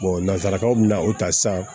nanzarakaw bɛna o ta san